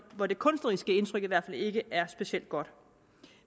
hvor det kunstneriske indtryk i hvert fald ikke er specielt godt